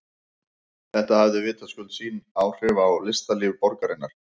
Þetta hafði vitaskuld sín áhrif á listalíf borgarinnar.